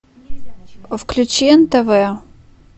включи нтв